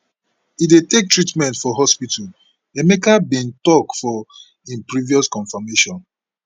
e dey take treatment for hospital emeka bin tok for im previous confirmation